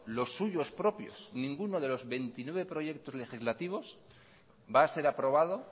los suyos propios ninguno de los veintinueve proyectos legislativos va a ser aprobado